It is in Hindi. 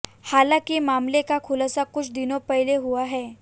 हालांकि मामले का खुलासा कुछ दिनों पहले हुआ है